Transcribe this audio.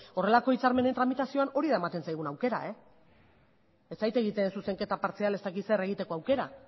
horrelako hitzarmenen tramitazioan hori da ematen zaiguna aukera ez zait egiten zuzenketa partzial ez dakit zer egiteko aukera